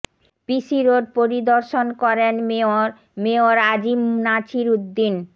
পিসি road পরিদর্শন করেন mayor mayor A J M Nasir Uddin